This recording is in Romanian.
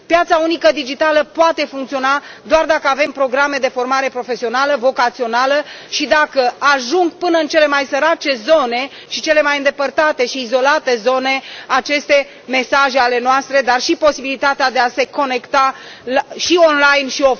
Piața unică digitală poate funcționa doar dacă avem programe de formare profesională, vocațională și dacă ajung până în cele mai sărace zone și cele mai îndepărtate și izolate zone aceste mesaje ale noastre, dar și posibilitatea de a se conecta și și